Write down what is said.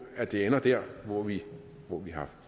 at det ender der hvor vi vi har